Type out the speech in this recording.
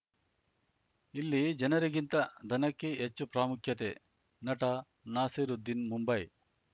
ಇಲ್ಲಿ ಜನರಿಗಿಂತ ದನಕ್ಕೇ ಹೆಚ್ಚು ಪ್ರಾಮುಖ್ಯತೆ ನಟ ನಾಸಿರುದ್ದೀನ್‌ ಮುಂಬೈ